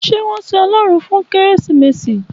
Ṣé wón sin Ọlọ́run fún Kérésìmesì?